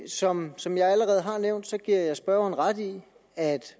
som som jeg allerede har nævnt giver jeg spørgeren ret i at